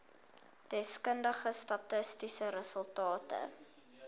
deskundige statistiese resultate